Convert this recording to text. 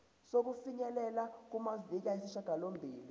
sokufinyelela kumaviki ayisishagalombili